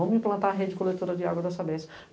Vamos implantar a rede coletora de água da Sabésco.